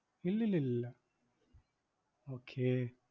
ഇലില്ലിലില്ല okay